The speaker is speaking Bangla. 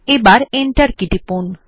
এবার এন্টার কী টিপুন